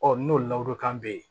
Ɔ n'o ladonkan bɛ yen